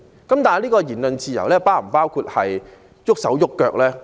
但這種言論自由是否包括動手動腳呢？